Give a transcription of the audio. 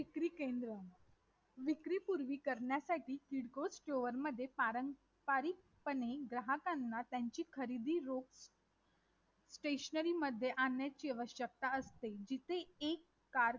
जर समान नागरी कायदा जर लागू झाल्यास तर जे आपल्या देशामध्ये राहणारे अनेक प्रकारचे धर्म किंवा जातीभेदीचे आ जाती असतील.